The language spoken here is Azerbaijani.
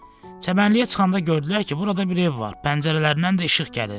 Çəmənliyə çıxanda gördülər ki, burada bir ev var, pəncərələrindən də işıq gəlir.